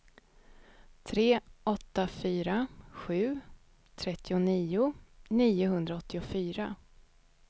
tre åtta fyra sju trettionio niohundraåttiofyra